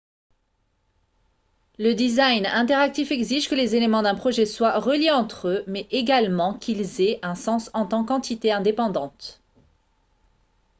le design interactif exige que les éléments d'un projet soient reliés entre eux mais également qu'ils aient un sens en tant qu'entité indépendante